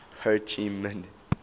ho chi minh